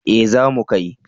Eh za mu kai